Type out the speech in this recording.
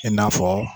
I n'a fɔ